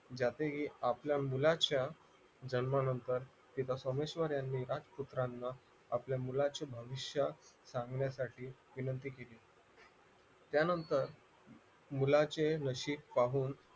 यातही आपल्या मुलाच्या जन्मानंतर तिला सोमेश्वरांनी यानी राजपुत्रांना आपल्या मुलाचे भविष्य सांगण्यासाठी विनंती केली त्यानंतर मुलाचे नशीब पाहून